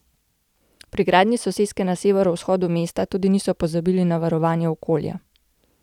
Pri gradnji soseske na severovzhodu mesta tudi niso pozabili na varovanje okolja.